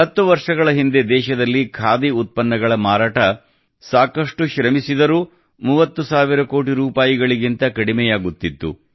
ಹತ್ತು ವರ್ಷಗಳ ಹಿಂದೆ ದೇಶದಲ್ಲಿ ಖಾದಿ ಉತ್ಪನ್ನಗಳ ಮಾರಾಟಕ್ಕೆ ಸಾಕಷ್ಟು ಶ್ರಮಿಸಿದರೂ 30 ಸಾವಿರ ಕೋಟಿ ರೂಪಾಯಿಗಿಂತ ಕಡಿಮೆಯಾಗುತ್ತಿತ್ತು